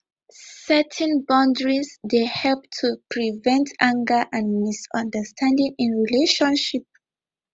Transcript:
setting boundaries dey help to prevent anger and misunderstanding in relationship